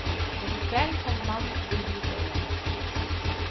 Om kvelden kom mannen forbi huset igjen.